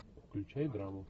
включай драму